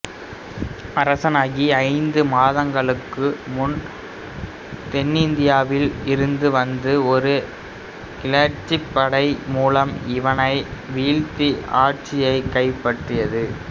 அரசனாகி ஐந்து மாதங்களுக்குப் பின் தென்னிந்தியாவில் இருந்து வந்த ஒரு கிளர்ச்சிப் படை மூலம் இவனை வீழ்த்தி ஆட்சியைக் கைப்பற்றியது